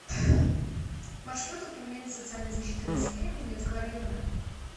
маршрут управление социальной защиты населения кузнецкого района